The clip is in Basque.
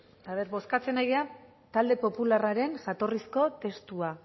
aber bozkatzen ari gara talde popularraren jatorrizko testua